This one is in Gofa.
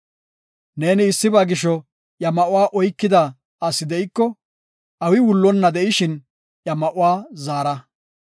Neeni issiba gisho, iya ma7uwa oykida asi de7iko, awi wullonna de7ishin iya ma7uwa zaara.